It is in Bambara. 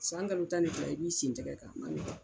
San kalo tan ni fila i b'i sentɛgɛ kan